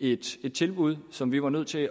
et tilbud som vi var nødt til